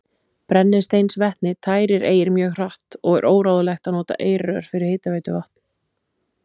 Brennisteinsvetni tærir eir mjög hratt, og er óráðlegt að nota eirrör fyrir hitaveituvatn.